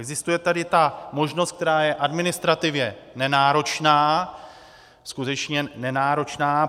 Existuje tady ta možnost, která je administrativně nenáročná, skutečně nenáročná.